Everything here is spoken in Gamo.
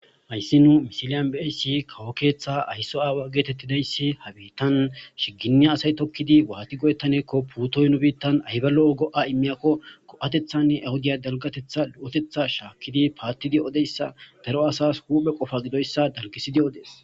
Hayssi nu misiliyan bssi kawo keeththa ayso aawa geetettidayssi habitan shiginni asay tokkidi waati goyettanekko puutoy nu biittan ayba lo'o go'a immiyakko ko'atethanne ahudiya dalgatetha lo'otetha shaakkidi paattidi odeyssa daro asas huphe qofa gidoyssa dalgisidi odees.